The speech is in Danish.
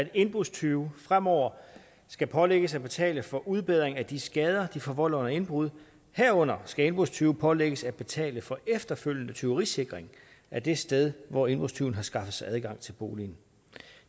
at indbrudstyve fremover skal pålægges at betale for udbedring af de skader de forvolder under indbrud herunder skal indbrudstyve pålægges at betale for efterfølgende tyverisikring af det sted hvor indbrudstyven har skaffet sig adgang til boligen